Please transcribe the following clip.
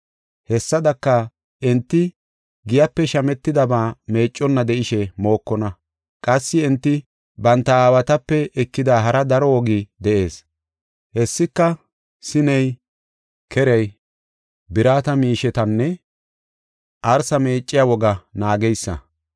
Hessadaka, enti giyape shametidaba meecconna de7ishe mokonna. Qassi enti banta aawatape ekida hara daro wogi de7ees: hessika sineta, kereta, birata miishetanne arsa meecciya wogaa naageysa.